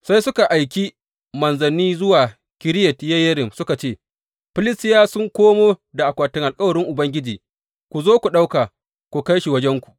Sai suka aiki manzanni zuwa Kiriyat Yeyarim suka ce, Filistiyawa sun komo da akwatin alkawarin Ubangiji, ku zo ku ɗauka ku kai wajenku.